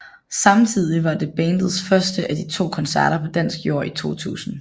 Samtidig var det bandets første af to koncerter på dansk jord i 2000